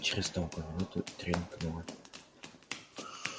через долгую минуту тренькнуло